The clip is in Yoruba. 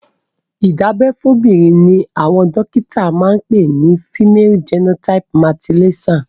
ìdábẹ́ fóbìnrin ni àwọn dọ́kíta ń pè ni Female genital mutilation.